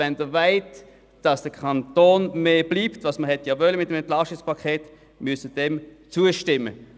Wenn Sie wollen, dass dem Kanton im Sinn des EP 18 mehr Geld bleibt, müssen Sie diesem Antrag zustimmen.